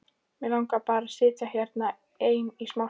Mig langaði bara að sitja hérna ein í smástund.